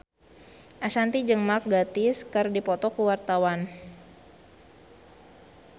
Ashanti jeung Mark Gatiss keur dipoto ku wartawan